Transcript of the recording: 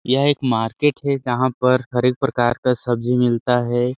यह एक मार्केट है जहां पर हर एक प्रकार का सब्जी मिलता है।